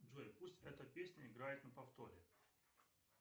джой пусть эта песня играет на повторе